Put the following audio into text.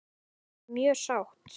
Ég er mjög sátt.